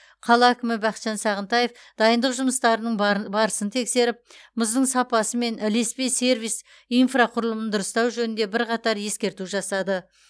қала әкімі бақытжан сағынтаев дайындық жұмыстарының барын барысын тексеріп мұздың сапасы мен ілеспе сервис инфрақұрылымын дұрыстау жөнінде бірқатар ескерту жасады